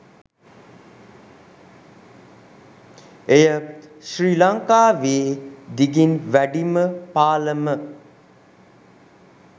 එය ශ්‍රී ලංකාවේ දිගින් වැඩිම පාලම